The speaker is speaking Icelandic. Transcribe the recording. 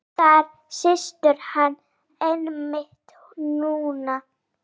Þar situr hann einmitt núna.